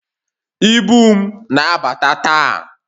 Ibu m na-abata taa